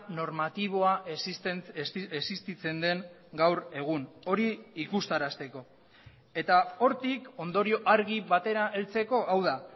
normatiboa existitzen den gaur egun hori ikustarazteko eta hortik ondorio argi batera heltzeko hau da